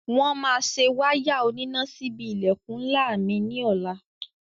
Wọ́n máa se wáyà oníná síbi ilẹ̀kùn ńlá mi ní ọ̀la.